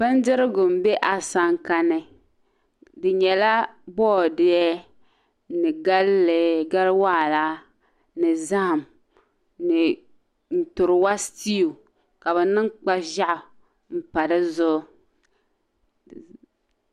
Bindirigu n bɛ asankani di nyɛla boodiyɛ ni galli gali waara ni zaham ni nturiwa stiwk ka bi niŋ kpa ʒiɛɣu n pa di zuɣ